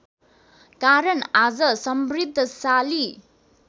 कारण आज समृद्धशाली